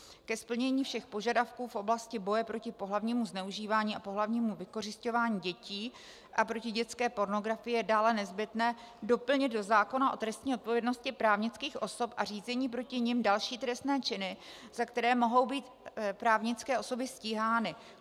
Ke splnění všech požadavků v oblasti boje proti pohlavnímu zneužívání a pohlavnímu vykořisťování dětí a proti dětské pornografii je dále nezbytné doplnit do zákona o trestní odpovědnosti právnických osob a řízení proti nim další trestné činy, za které mohou být právnické osoby stíhány.